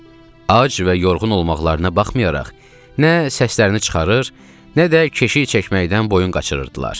Ac və yorğun olmaqlarına baxmayaraq, nə səslərini çıxarır, nə də keşik çəkməkdən boyun qaçırırdılar.